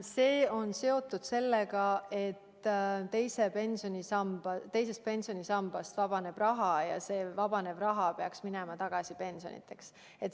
See on seotud sellega, et teisest pensionisambast vabaneb raha ja see vabanev raha peaks tagasi minema pensionideks.